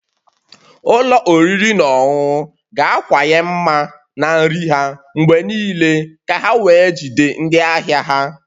Ụlọ oriri na ọṅụṅụ ga-akawanye mma na nri ha mgbe niile ka ha wee jide ndị ahịa ha